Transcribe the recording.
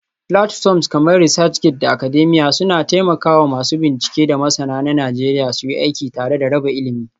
Platforms kamar ResearchGate da Academia suna taimaka wa masu bincike da masana na Najeriya suyi aiki tare da raba ilimi.